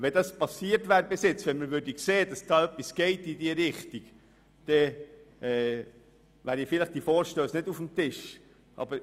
Wenn das in der Zwischenzeit geschehen wäre, wenn man sähe, dass sich etwas in diese Richtung bewegt, dann würden diese Vorstösse vielleicht jetzt nicht auf dem Tisch liegen.